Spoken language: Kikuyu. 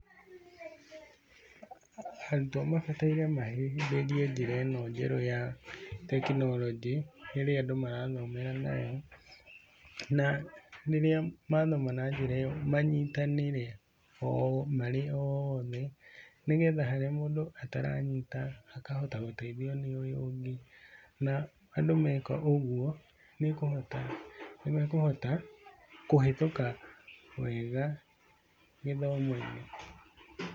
Arutwo mabataire mahĩmbĩrie njĩra ino njerũ ya tekonoronjĩ irĩa andũ marathomera nayo. Na rĩrĩa mathoma na njĩra ĩyo manyitanĩre marĩ oothe, nĩ getha harĩa mũndũ ataranyita akahota gũteithio ni ũyũ ũngĩ. Na andũ mekaga ũguo nĩukũhota, nĩ mekũhota kũhĩtũka wega gĩthomo-inĩ.